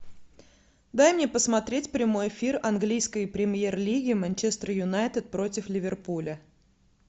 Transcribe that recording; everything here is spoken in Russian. дай мне посмотреть прямой эфир английской премьер лиги манчестер юнайтед против ливерпуля